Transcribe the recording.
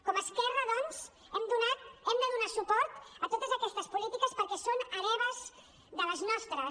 com a esquerra doncs hem de donar suport a totes aquestes polítiques perquè són hereves de les nostres